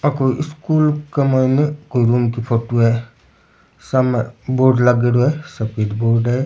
आ कोई स्कूल के मायने कोई रूम की फोटो है सामने बोर्ड लाग्योड़ौ है सफ़ेद बोर्ड है।